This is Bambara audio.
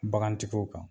Bagantigiw kan